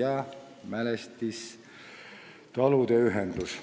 ja mälestistalude ühendus.